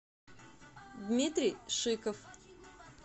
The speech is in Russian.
дмитрий шиков